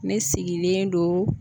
Ne sigilen do